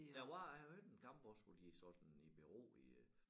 Der var øh jeg hørte en kamp også hvor de sådan i bero i øh